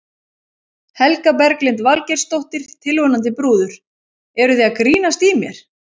Helga Berglind Valgeirsdóttir, tilvonandi brúður: Eruð þið að grínast í mér?